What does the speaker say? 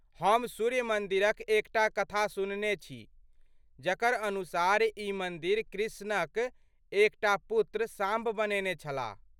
हम सूर्य मन्दिरक एकटा कथा सुनने छी जकर अनुसार ई मन्दिर कृष्णक एकटा पुत्र, साम्ब बनेने छलाह।